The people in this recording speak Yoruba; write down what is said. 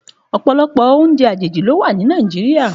Òpòlòpò óoùnjè àjéjí ló wà ni Nàijiriá